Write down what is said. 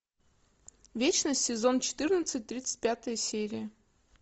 вечность сезон четырнадцать тридцать пятая серия